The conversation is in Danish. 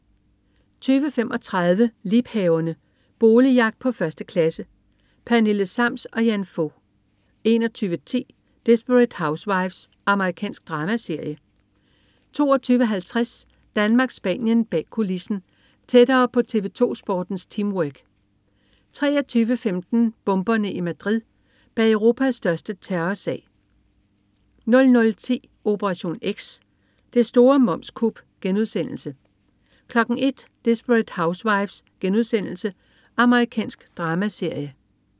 20.35 Liebhaverne. Boligjagt på 1. klasse. Pernille Sams og Jan Fog 21.10 Desperate Housewives. Amerikansk dramaserie 22.50 Danmark-Spanien bag kulissen. Tættere på TV2Sportens teamwork 23.15 Bomberne i Madrid. Bag Europas største terrorsag 00.10 Operation X. Det store momskup* 01.00 Desperate Housewives.* Amerikansk dramaserie